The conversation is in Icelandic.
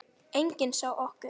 Enginn sá okkur.